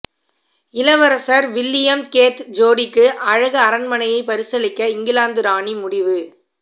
இளவரசர் William Kate ஜோடிக்கு அழகு அரண்மனையை பரிசளிக்க இங்கிலாந்து ராணி முடிவு